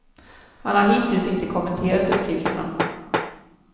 Han har hittills inte kommenterat uppgifterna.